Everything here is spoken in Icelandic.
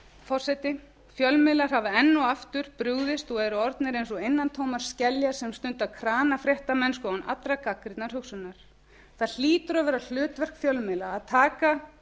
forseti fjölmiðlar hafa enn og aftur brugðist og eru orðnir eins og innantómar skeljar sem stunda kranafréttamennsku án allrar gagnrýninnar hugsunar það hlýtur að vera hlutverk fjölmiðla að taka